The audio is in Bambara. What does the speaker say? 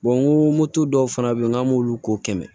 n ko moto dɔw fana bɛ yen n k'an m'olu ko kɛmɛ